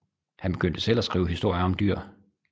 Han begyndte selv at skrive historier om dyr